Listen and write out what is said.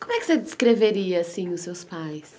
Como é que você descreveria, assim, os seus pais?